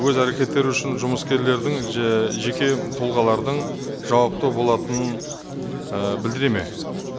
өз әрекеттері үшін жұмыскерлердің жеке тұлғалардың жауапты болатынын ы білдіреді ме